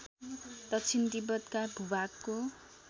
दक्षिण तिब्बतका भूभागको